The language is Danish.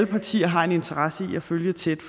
partier har en interesse i at følge tæt